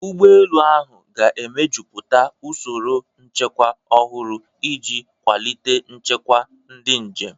Ụgbọ elu ahụ ga-emejuputa usoro nchekwa ọhụrụ iji kwalite nchekwa ndị njem.